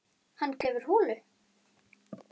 Hann grefur holu.